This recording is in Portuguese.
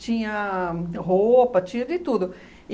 Tinha roupa, tinha de tudo.